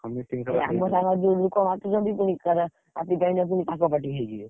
ଆମ ସାଙ୍ଗରେ ଯୋଉ ଲୋକ ମାତିଛନ୍ତି, ଆଜି ଯାଇ ପୁଣି ତାଙ୍କ party ହେଇଯିବେ।